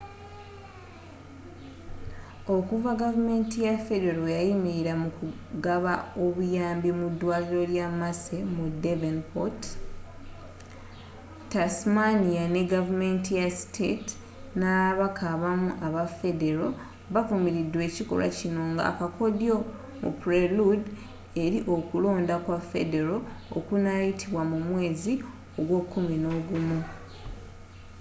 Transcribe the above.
okuva gavumenti ya federo lweyayimirira mukugaba obuyambi mu dwaliro lya mersey mu devonport tasmania ne gavumenti ya state n'ababaka abamu aba federo bavumiride ekikolwa kino nga akakodyo mu prelude eri okulonda kwa federo okunayitibwa mu mwezi gw'ekuminogumu